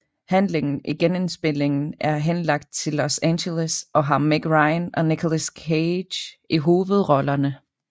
Handlingen i genindspilningen er henlagt til Los Angeles og har Meg Ryan og Nicolas Cage i hovedrollerne